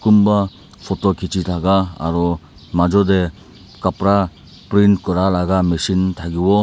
kunba photo khici thaka aro majo te kapra print kura laga machine thakibo.